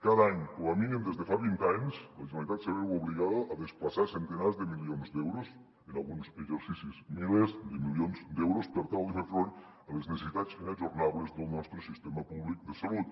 cada any com a mínim des de fa vint anys la generalitat se veu obligada a desplaçar centenars de milions d’euros en alguns exercicis milers de milions d’euros per tal de fer front a les necessitats inajornables del nostre sistema públic de salut